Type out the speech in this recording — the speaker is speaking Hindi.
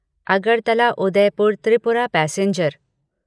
अगरतला उदयपुर त्रिपुरा पैसेंजर